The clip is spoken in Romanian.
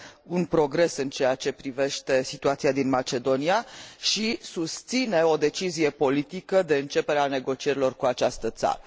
un progres în ceea ce privește situația din Macedonia și susține o decizie politică de începere a negocierilor cu această țară.